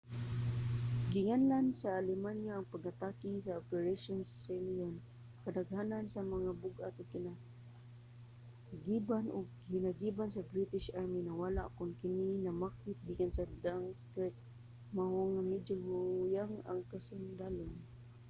ginganlan sa alemanya ang pag-atake nga operation sealion". kadaghanan sa mga bug-at nga hinagiban ug hinagiban sa british army nawala kon kini namakwit gikan sa dunkirk mao nga medyo huyang ang kasundalohan